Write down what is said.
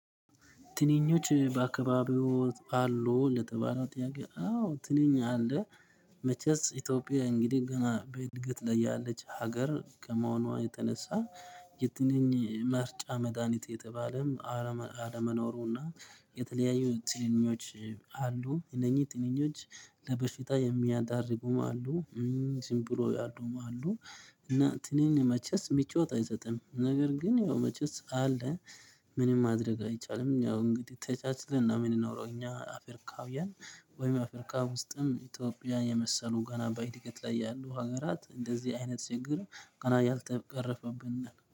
ትንኞች በአካባቢው አሉ ለተባለው ጥያቄ አዎ ትንኝ አለ። መቼስ ኢትዮጵያ እንግዲህ ገና በእድገት ላይ ያለች ሀገር ከመሆኗ የተነሳ። የትንኝ መርጫ መድሃኒት የተባለ አለመኖሩና የተለያዩ ትንኞች አሉ እነኚህ ትንኞች ለበሽታ የሚያዳርጉም አሉ። ዝም ብሎ ያሉም አሉ። እና ትንኝ መቼስ ምቾት አይሰጥም ነገር ግን ያው መቼስ አለ። ምንም ማድረግ አይቻልም ያው እንግዲህ ተቻችልን ነው የምንኖረው እኛ አፍርካውያን። ወይም አፍርካ ውስጥም ኢትዮጵያን የመሰሉ ገና በእድገት ላይ ያሉ ሀገራት እንደዚህ አይነት ችግር ገና ያልተቀረፈብን